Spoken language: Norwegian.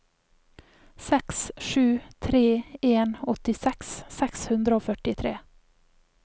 seks sju tre en åttiseks seks hundre og førtitre